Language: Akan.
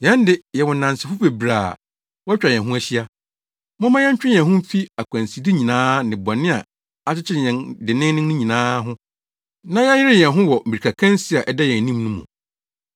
Yɛn de, yɛwɔ nnansefo bebree a wɔatwa yɛn ho ahyia. Momma yɛntwe yɛn ho mfi akwanside nyinaa ne bɔne a akyekyere yɛn denneennen no nyinaa ho na yɛnyere yɛn ho wɔ mmirikakansi a ɛda yɛn anim no mu.